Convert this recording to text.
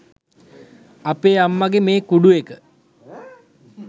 අපේ අම්මගේ මේ කුඩු එක